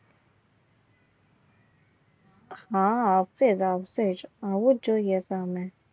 હા આવશે આવશે આવું જ જોઈએ. તમે